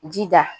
Jija